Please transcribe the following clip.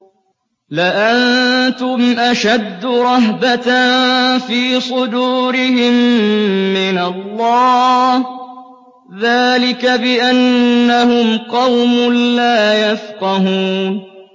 لَأَنتُمْ أَشَدُّ رَهْبَةً فِي صُدُورِهِم مِّنَ اللَّهِ ۚ ذَٰلِكَ بِأَنَّهُمْ قَوْمٌ لَّا يَفْقَهُونَ